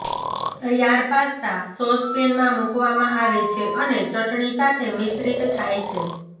તૈયાર પાસ્તા સોસપેનમાં મૂકવામાં આવે છે અને ચટણી સાથે મિશ્રિત થાય છે